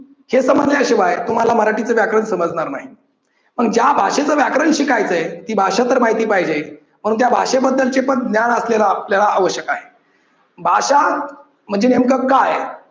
हे समजल्याशिवाय तुम्हाला मराठीचे व्याकरण समजणार नाही पण ज्या भाषेचे व्याकरण शिकायचंय ती भाषा तर माहिती पाहिजे मग त्या भाषेबद्दलचे पण ज्ञान असलेलं आपल्याला आवश्यक आहे. भाषा म्हणजे नेमकं काय?